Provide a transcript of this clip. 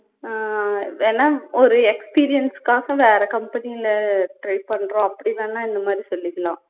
உம் வேணா ஒரு experience க்காக வேற company ல try பண்ணுறோம் அப்படி வேணா இந்த மாதிரி சொல்லிக்கலாம்